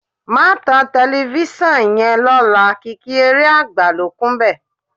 Má tan tẹlifíṣàn yẹn lọ́la, kìkì eré àgbà ló kúnbẹ̀